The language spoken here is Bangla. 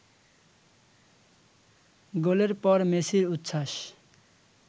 গোলের পর মেসির উচ্ছ্বাস